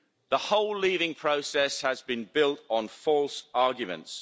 The whole leaving process has been built on false arguments.